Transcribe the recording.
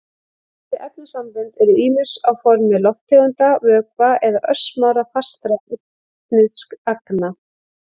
Þessi efnasambönd eru ýmist á formi lofttegunda, vökva eða örsmárra fastra efnisagna.